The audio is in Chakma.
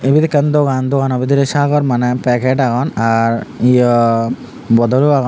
ibet ekkan dogan doganow bidrey sagor maneh paget agon ar yaw bodolow agon.